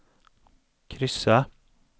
kryssa